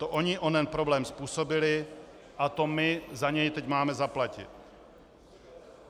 To ony onen problém způsobily a to my za něj teď máme zaplatit.